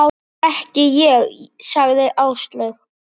Ekki ég sagði Áslaug.